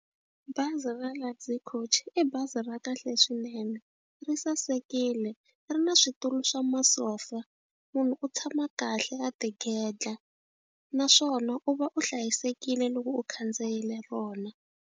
Bazi ra Luxury Coach i bazi ra kahle swinene ri sasekile ri na switulu swa masofa munhu u tshama kahle a tigedla naswona u va u hlayisekile loko u khandziyile rona.